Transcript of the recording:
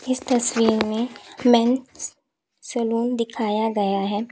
इस तस्वीर में मेंस सलून दिखाया गया है।